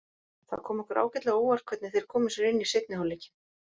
Það kom okkur ágætlega á óvart hvernig þeir komu sér inn í seinni hálfleikinn.